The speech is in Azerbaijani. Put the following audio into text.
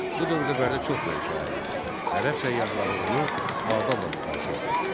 Bu dövrdə Bərdə çox böyük şəhər idi və ərəb səyyahları onu Bağdadla müqayisə edirdilər.